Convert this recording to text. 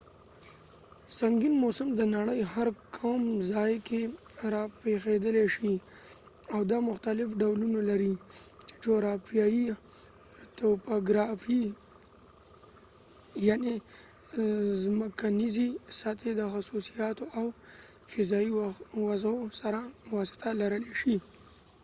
سنګین موسم د نړۍ هر کوم ځای کې راپېښېدلی شي او دا مختلف ډولونه لري چې جغرافیه توپوګرافي یعني زمکنیزې سطحې د خصوصیاتو او فضايي وضعو سره واسطه لرلې شي